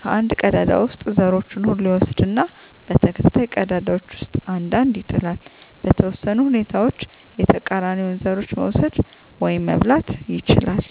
ከአንድ ቀዳዳ ውስጥ ዘሮቹን ሁሉ ይወስዳል እና በተከታታይ ቀዳዳዎች ውስጥ አንድ አንድ ይጥላል። . በተወሰኑ ሁኔታዎች የተቃራኒውን ዘሮች መውሰድ (መብላት) ይችላል።